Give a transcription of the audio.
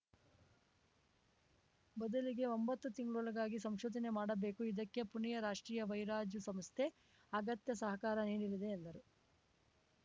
ಬದಲಿಗೆ ಒಂಬತ್ತು ತಿಂಗಳೊಳಗಾಗಿ ಸಂಶೋಧನೆ ಮಾಡಬೇಕು ಇದಕ್ಕೆ ಪುಣೆಯ ರಾಷ್ಟ್ರೀಯ ವೈರಾಜು ಸಂಸ್ಥೆ ಅಗತ್ಯ ಸಹಕಾರ ನೀಡಲಿದೆ ಎಂದರು